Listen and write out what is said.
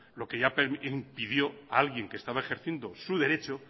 lo que ya impidió a alguien que estaba ejerciendo su derecho